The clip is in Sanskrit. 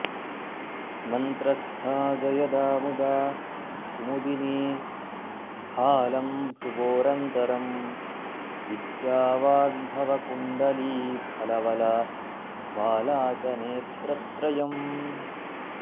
मन्त्रस्था जयदा मुदा कुमुदिनी भालं भ्रुवोरन्तरं विद्या वाग्भवकुण्डलीफलवलाबाला च नेत्रत्रयम्